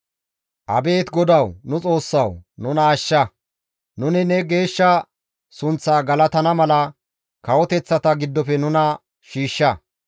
Abeet GODAWU Nu Xoossawu! Nuna ashsha. Nuni ne geeshsha sunththa galatana mala kawoteththata giddofe nuna shiishsha.